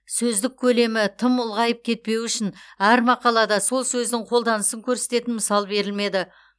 сөздік көлемі тым ұлғайып кетпеуі үшін әр мақалада сол сөздің қолданысын көрсететін мысал берілмеді